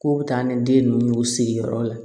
K'o bɛ taa ni den ninnu y'u sigiyɔrɔ la